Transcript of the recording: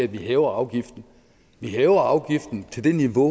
vi hæver afgiften vi hæver afgiften til det niveau